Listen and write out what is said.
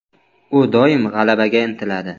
U doim g‘alabaga intiladi.